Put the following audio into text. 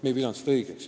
Me ei pea seda õigeks.